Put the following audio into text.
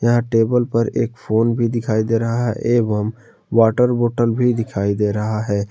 यहां टेबल पर एक फोन भी दिखाई दे रहा है एवम वाटर बॉटल भी दिखाई दे रहा है।